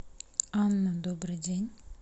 анна добрый день